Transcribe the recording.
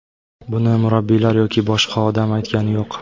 Buni murabbiylar yoki boshqa odam aytgani yo‘q.